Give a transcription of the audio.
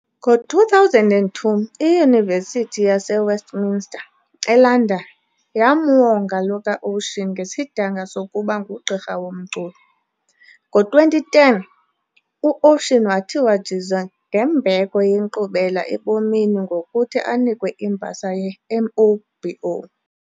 Ngo2002, iUniversity yase Westminster, eLondon, yamwonga lo kaOcean ngesidanga sokuba ngugqirha womculo. Ngo2010, uOcean wathiwa jize ngembeko yeNkqubela eBomini ngokuthi anikwe imbasa yeMOBO.